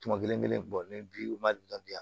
Tuma kelen-kelen bɔ ne bi u ma deli ka bila